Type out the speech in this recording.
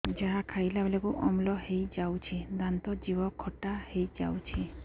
ଯାହା ଖାଇଲା ବେଳକୁ ଅମ୍ଳ ହେଇଯାଉଛି ଦାନ୍ତ ଜିଭ ଖଟା ହେଇଯାଉଛି